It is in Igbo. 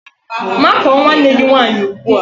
Makụọ nwanne gị nwaanyị ugbua!